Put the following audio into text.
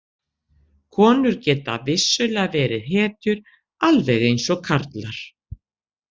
Konur geta vissulega verið hetjur alveg eins og karlar.